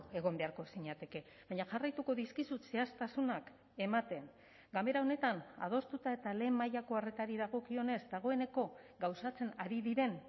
egon beharko zinateke baina jarraituko dizkizut zehaztasunak ematen ganbera honetan adostuta eta lehen mailako arretari dagokionez dagoeneko gauzatzen ari diren